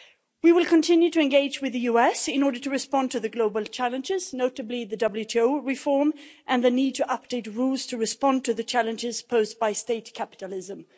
We will continue to engage with the US in order to respond to the global challenges, notably the WTO reform and the need to update rules to respond to the challenges posed by state capitalism.